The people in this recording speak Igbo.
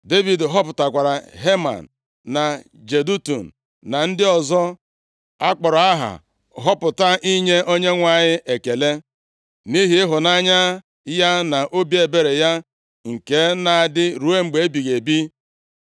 Devid họpụtakwara Heman, na Jedutun, na ndị ọzọ a kpọrọ aha họpụta inye Onyenwe anyị ekele, “nʼihi ịhụnanya ya na obi ebere ya nke na-adị ruo mgbe ebighị ebi.”